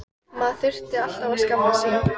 Maður þurfti alltaf að skammast sín.